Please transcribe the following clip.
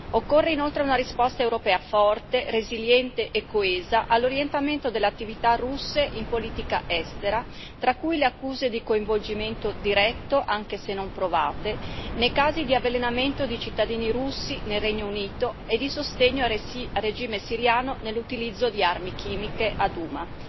Occorre inoltre una risposta europea forte, resiliente e coesa all'orientamento dell'attività russe in politica estera, tra cui le accuse di coinvolgimento diretto, anche se non provate, nei casi di avvelenamento di cittadini russi nel Regno Unito e di sostegno al regime siriano nell'utilizzo di armi chimiche a Douma.